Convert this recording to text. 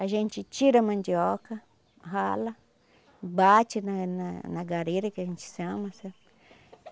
A gente tira a mandioca, rala, bate na na na gareira, que a gente chama, sabe?